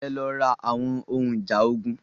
Ẹ lọ ra àwọn ohun ìjà ogun.